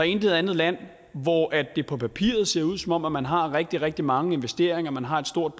intet andet land hvor det på papiret ser ud som om man har rigtig rigtig mange investeringer man har et stort